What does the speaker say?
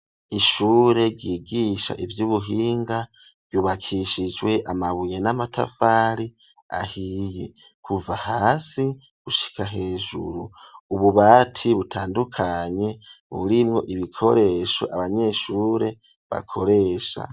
Ishure ryigisha ivy'ubuhinga, ryubakishijwe amabuye n'amatafari ahiye, kuva hasi gushika hejuru, ububati butandukanye burimwo ibikoresho abanyeshure bakoresha.